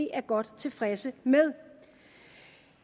er godt tilfredse med